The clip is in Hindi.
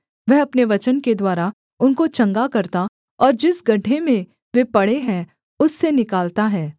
वह अपने वचन के द्वारा उनको चंगा करता और जिस गड्ढे में वे पड़े हैं उससे निकालता है